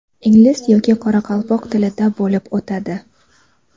ingliz yoki qoraqalpoq tilida bo‘lib o‘tadi.